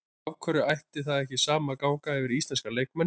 Af hverju ætti það sama ekki að ganga yfir íslenska leikmenn?